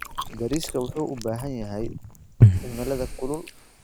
Bariiska wuxuu u baahan yahay cimilada kulul.